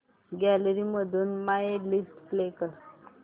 gallery मधून my list play कर